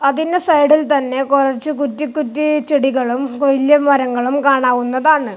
അതിന്റെ സൈഡിൽ തന്നെ കുറച്ചു കുറ്റിക്കുറ്റി ചെടികളും വലിയ മരങ്ങളും കാണാവുന്നതാണ്.